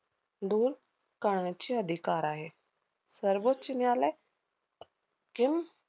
दूर करण्याचे अधिकार आहे. सर्वोच्च न्यायालय